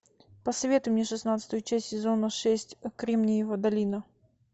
посоветуй мне шестнадцатую часть сезона шесть кремниевая долина